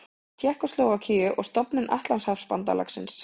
Tékkóslóvakíu og stofnun Atlantshafsbandalagsins.